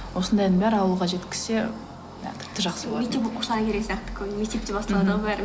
осындайдың бәрі ауылға жеткізсе і тіпті жақсы болар еді мектеп оқушылары керек сияқты мектепте басталады ғой бәрі